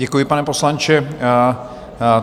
Děkuji, pane poslanče.